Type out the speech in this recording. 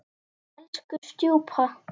Elsku stjúpa.